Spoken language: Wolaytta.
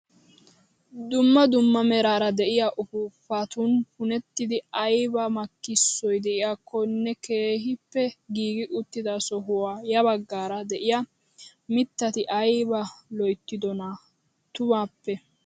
Dumma dumma meraara de'iyaa upuupatun punttidi ayba makkisoy de'iyakonne keehippe giigi uttida sohuwaa ya baggaara de'iyaa mittaati ayba loyttidonaa tumaappe!